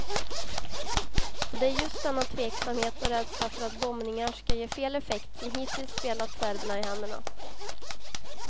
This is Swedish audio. Och det är just denna tveksamhet och rädsla för att bombningar skall ge fel effekt som hittills spelat serberna i händerna.